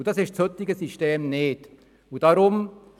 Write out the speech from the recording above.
Das ist im heutigen System nicht der Fall.